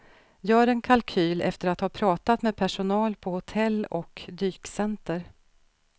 Gör en kalkyl efter att ha pratat med personal på hotell och dykcenter.